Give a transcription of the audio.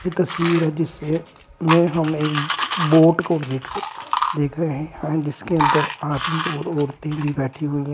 तस्वीर है जिसे में हमें एक बोट को देख रहे हैं जिसके अंदर आदमी और औरतें भी बैठी हुई है।